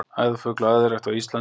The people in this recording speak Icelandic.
æðarfugl og æðarrækt á íslandi